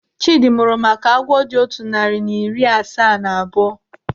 Chidi mụrụ maka agwọ dị otu narị na iri asaa na abụọ.